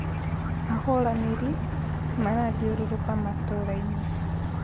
Ahũranĩri marathiũrũrũka matũra-inĩ